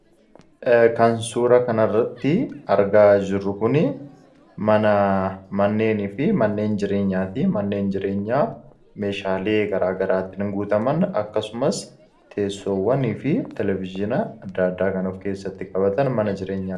kan suura kana irratti argaa jirru kuni manneenii fi manneen jireenyaa ti. Manneen jireenyaa meeshaalee garaa garaatiin guutaman akkasumas teessoowwanii fi kanneen kana fakkaatan ni jiru